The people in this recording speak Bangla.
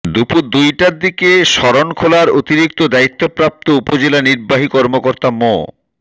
দুপুর দুইটার দিকে শরণখোলার অতিরিক্ত দায়িত্বপ্রাপ্ত উপজেলা নির্বাহী কর্মকর্তা মো